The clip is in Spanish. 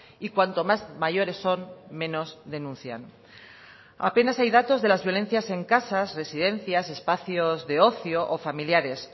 y cuanto más mayores son menos denuncian apenas hay datos de las violencias en casas residencias espacios de ocio o familiares